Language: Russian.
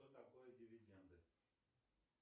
что такое дивиденды